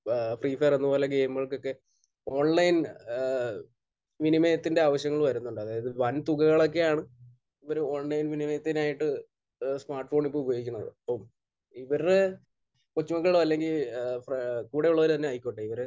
ഏഹ് free fire അതുപോലെ ഗെയിമുകൾക്കൊക്കെ online ഏഹ് വിനിമയത്തിന്റെ ആവശ്യങ്ങൾ വരുന്നുണ്ട്. അതായത് വൻ തുകകളൊക്കെയാണ് ഇവർ ഓൺലൈൻ വിനിമയത്തിനായിട്ട് സ്മാർട്ഫോൺ ഇപ്പോൾ ഉപയോഗിക്കുന്നത്. അപ്പോൾ ഇവരുടെ കൊച്ചുമക്കൾ അല്ലെങ്കിൽ ഏഹ് ഫ്ര...കൂടെയുള്ളവർ തന്നെ ആയിക്കോട്ടെ, ഇവർ